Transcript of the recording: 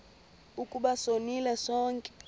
ukuba sonile sonke